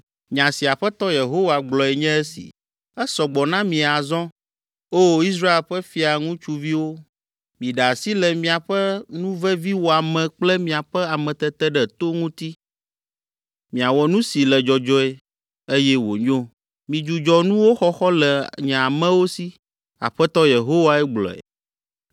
“ ‘Nya si Aƒetɔ Yehowa gblɔe nye esi: “Esɔ gbɔ na mi azɔ, O! Israel ƒe fia ŋutsuviwo! Miɖe asi le miaƒe nuveviwɔame kple miaƒe ameteteɖeto ŋuti, miawɔ nu si le dzɔdzɔe, eye wònyo. Midzudzɔ nuwo xɔxɔ le nye amewo si,” Aƒetɔ Yehowae gblɔe.